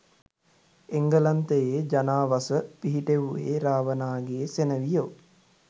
එංගලන්තයේ ජනාවස පිහිටෙව්වේ රාවණාගේ සෙනෙවියෝ